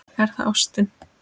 Er það ástin?